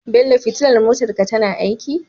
Bello fitilar motar ka tana aiki?